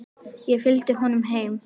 Ég fylgdi honum heim.